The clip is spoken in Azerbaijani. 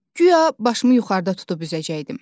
Guya başımı yuxarıda tutub üzəcəkdim.